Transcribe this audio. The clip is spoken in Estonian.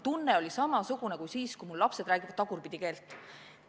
Mul oli samasugune tunne kui siis, kui mul lapsed räägivad tagurpidikeelt.